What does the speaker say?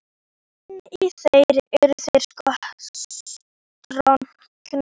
En í þér eru þeir stroknir.